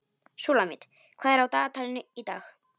Súlamít, hvað er á dagatalinu í dag?